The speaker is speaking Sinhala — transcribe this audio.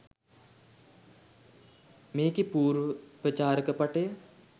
මේකේ පූර්ව ප්‍රචාරක පටය